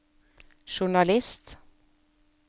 journalist